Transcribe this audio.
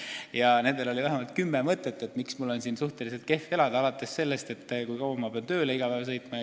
Nad tõid välja vähemalt kümme põhjust, miks Tallinnas on suhteliselt kehv elada, alates näiteks sellest, kui kaua peab tööle iga päev sõitma.